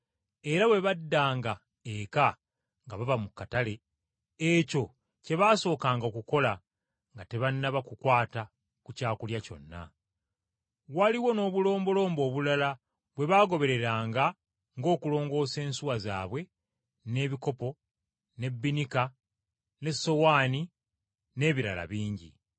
Era bwe baddanga eka nga bava mu katale, ekyo kye baasookanga okukola nga tebannaba kukwata ku kyakulya kyonna. Waliwo n’obulombolombo obulala bwe baagobereranga ng’okulongoosa ensuwa zaabwe, n’ebikopo, n’ebbinika n’essowaani, n’ebirala bingi.